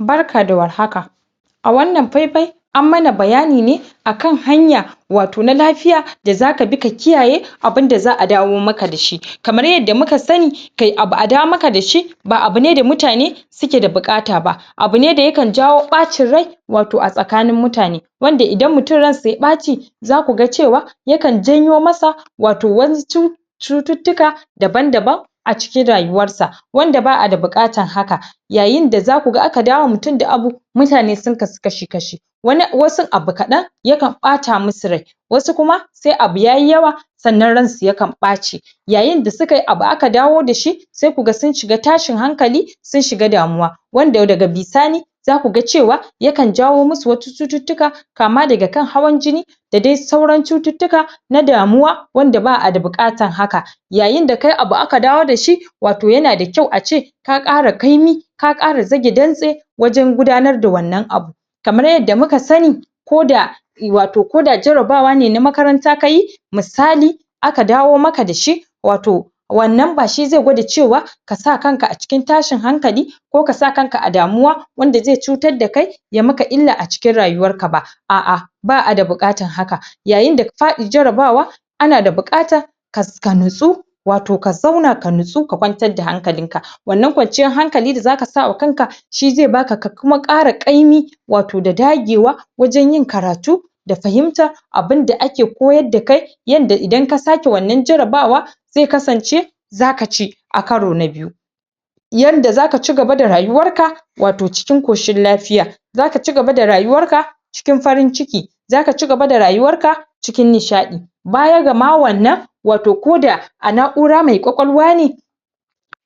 Barka da war haka, wannan fai-fai an mana bayani ne akan hanya wato na lafiya da zaka bi ka kiyaye abinda za'a dawo maka dashi, kamar yadda muka sani kai abu a dawo maka da shi ba abune da mutane suke da buƙata ba abu ne da yakan jawo ɓacin rai wato a tsakanin mutane, wanda idan mutum ransa ya ɓqci za kuga cewa yakan janyo masa wato wasu cu cututtuka daban-daban a cikin rayuwar sa wanda ba'ada buƙatan haka yayinda za kuga aka dawo wa mutumda abu mutane sun kasu kashi-kashi wani wasun abu kaɗan sukan ɓata musu rai, wasu kuma se abu yayi yawa sannan ransu yakan ɓace. Yayinda sukayi abu aka dawo da shi se kuga sun shiga tashin hankali sun shiga damuwa wanda daga bisani za kuga cewa yakan jawo musu wasu cututtuka kama daga kan hawan jini, da dai sauran cututtuka na damuwa wanda ba'ada buƙatan haka. Yayinda kayi abu aka dawo da shi wato yana da kyau a ce ka ƙara kaimi ka kƙara zage dantse wajan gudanar da wannan abu. Kamar yadda muka sani ko da i wato koda jarabawa ne na makaranta kayi misali, aka dawo maka dashi wato wannan ba shi ze gwada cewa ka sa kanka a cikin tashin hankali ko kasa kanka a damuwa wanda ze cutar da kai ya maka illa a cikin rayuwar ka ba a'a ba'ada buƙatan haka yayinda faɗi jarabawa ana da buƙata ka ka natsu wato ka zauna ka nutsu ka kwantar da hankalin ka wannan kwanciyar hankali da zaka sa wa kanka shi ze baka ka kuma ƙara ƙaimi wato da dagewa waja yin karatu da fahimta abinda ake koyar da kai yanda idan ka sa ke wannan jarabawa ze kasance zaka ci a karo na biyu. Yanda zaka cigaba da rayuwar ka wato cikin koshin lafiya zaka cigaba da rayuwar ka cikin farin ciki zaka cigaba da rayuwar ka cikin nishaɗi baya ga ma wannan wato ko da a na'ura mai ƙwaƙwalwa ne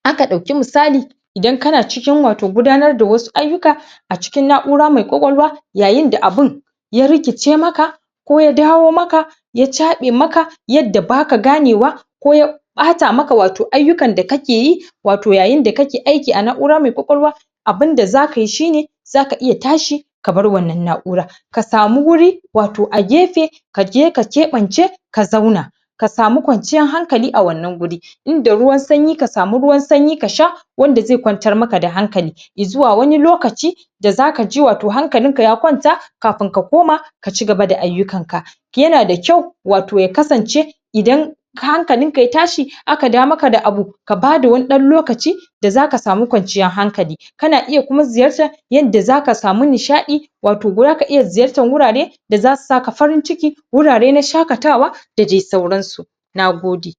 aka ɗauki musali idan kana cikin wato gudanar da wasu ayyuka a cikin na'ura mai ƙwaƙwalwa yayinda abin ya rikice maka ko ya dawo maka ya chaɓe maka yadda baka gane wa ko ya ɓata maka wato ayyukan da kake yi wato yayinda kake aiki a na'ura maiƙwaƙwalwa abinda za kayi shine zaka iya tashi ka bar wannan na'ura ka samu wuri wato a gefe kaje ka keɓance ka zauna ka samu kwanciyan hankali a wannan guri inda rywan sanyi ka samu ruwan sanyi ka sha wanda ze kwantar maka da hankali izuwa wani lokaci da zakaji wato hankalin ka ya kwanta kapin ka koma ka cigaba da ayyukan ka yana da kyau wato ya kasance idan hankalinka ya tashi aka dawo maka da abu kaan lokaci bada wani ɗ da zaka samukwanciyar hankali kana iya kuma ziyartan da zaka samu nishaɗi wato zaka iya ziyartan wurare da zasu saka farin ciki wurare na shakatawa da dai sauransu, nagode.